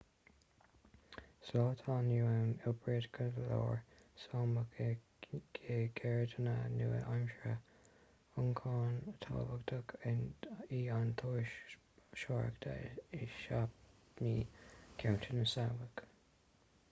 sa lá atá inniu ann oibríonn go leor sámach i gceirdeanna nua-aimseartha ioncam tábhachtach í an turasóireacht i sápmi ceantar na sámach